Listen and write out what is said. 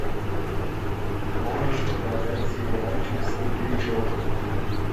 можешь показать сериальчик светлячок